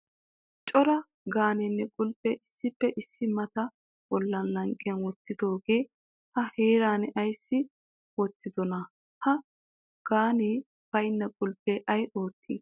Cora gaaniyanne qulpiya issippe issi mitta bolla laqqi wottidoogee ha heeran ayssi wottidona? Ha gaanee baynna qulpe ay ootti ?